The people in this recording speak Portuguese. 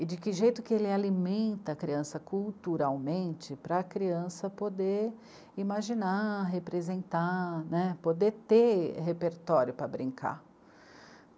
e de que jeito que ele alimenta a criança culturalmente para a criança poder imaginar, representar né, poder ter repertório para brincar.